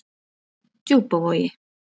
Djúpavogi